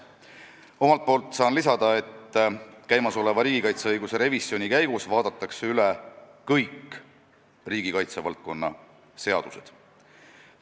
Omalt poolt saan lisada, et käimasoleva riigikaitseõiguse revisjoni käigus vaadatakse üle kõik riigikaitsevaldkonna seadused.